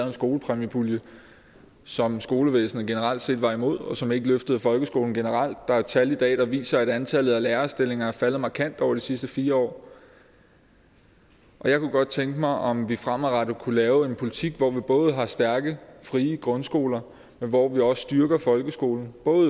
en skolepræmiepulje som skolevæsenet generelt set var imod og som ikke løftede folkeskolen generelt der er et tal i dag der viser at antallet af lærerstillinger er faldet markant over de sidste fire år jeg kunne godt tænke mig om vi fremadrettet kunne lave en politik hvor vi både har stærke frie grundskoler men hvor vi også styrker folkeskolen